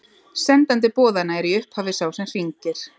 sendandi boðanna er í upphafi sá sem hringir